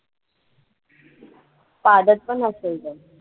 पादतपण असेल तो